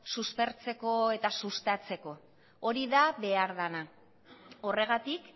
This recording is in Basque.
suspertzeko eta sustatzeko hori da behar dana horregatik